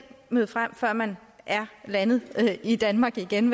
møde frem før man er landet i danmark igen